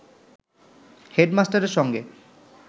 হেডমাস্টারের সঙ্গে